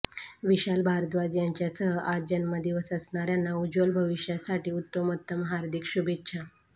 विशाल भारद्वाज यांच्यासह आज जन्मदिवस असणाऱ्यांना उज्ज्वल भविष्यासाठी उत्तमोत्तम हार्दिक शुभेच्छा